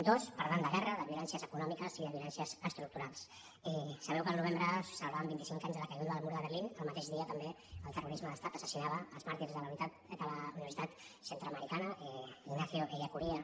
dos parlant de guerra de violències econòmiques i de violències estructurals sabeu que el novembre ce·lebràvem vint·i·cinc anys de la caiguda del mur de berlín el mateix dia també el terrorisme d’estat assas·sinava els màrtirs de la universitat centreamericana ignacio ellacuría